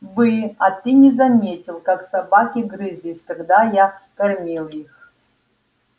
бы а ты не заметил как собаки грызлись когда я кормил их